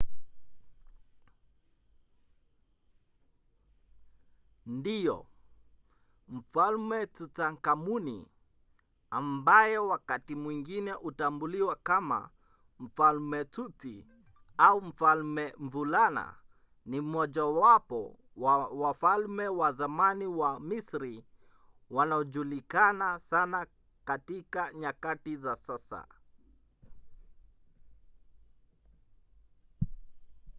ndiyo! mfalme tutankhamuni ambaye wakati mwingine hutambuliwa kama mfalme tuti” au mfalme mvulana” ni mmojawapo wa wafalme wa zamani wa misri wanaojulikana sana katika nyakati za sasa